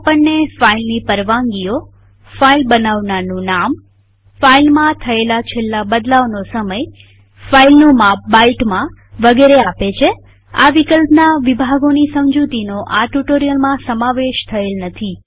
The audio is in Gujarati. તે આપણને ફાઈલની પરવાનગીઓફાઈલ બનાવનારનું નામફાઈલમાં છેલ્લા થયેલ બદલાવનો સમયફાઈલનું માપ બાઈટમાં વગેરે આપે છેઆ વિકલ્પના વિભાગોની સમજુતીનો આ ટ્યુ્ટોરીઅલમાં સમાવેશ થયેલ નથી